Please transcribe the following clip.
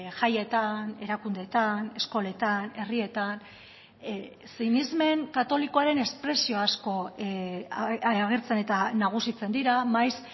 jaietan erakundeetan eskoletan herrietan sinesmen katolikoaren espresio asko agertzen eta nagusitzen dira maiz